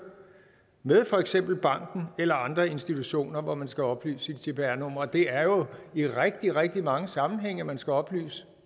med for eksempel banken eller andre institutioner hvor man skal oplyse sit cpr nummer det er jo i rigtig rigtig mange sammenhænge at man skal oplyse